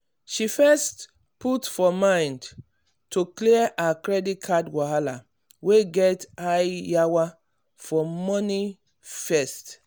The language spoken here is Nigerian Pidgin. she first put for mind to clear her credit card wahala wey get high yawa for money first.